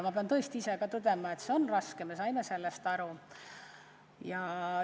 Ma pean ise ka tõdema, et see on raske, me saime sellest aru.